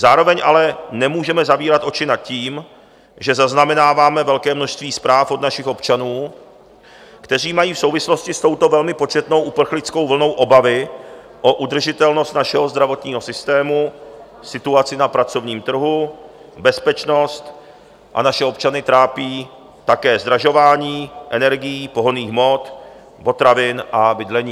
Zároveň ale nemůžeme zavírat oči nad tím, že zaznamenáváme velké množství zpráv od našich občanů, kteří mají v souvislosti s touto velmi početnou uprchlickou vlnou obavy o udržitelnost našeho zdravotního systému, situaci na pracovním trhu, bezpečnost, a naše občany trápí také zdražování energií, pohonných hmot, potravin a bydlení.